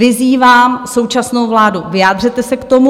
Vyzývám současnou vládu, vyjádřete se k tomu.